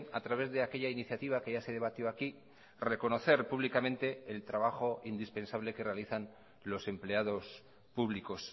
a través de aquella iniciativa que ya se debatió aquí reconocer públicamente el trabajo indispensable que realizan los empleados públicos